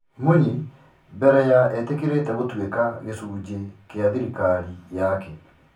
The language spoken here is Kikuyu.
Munyi mbere ya etĩkĩrĩte gũtũĩka gicunje kĩa thĩrikari yake.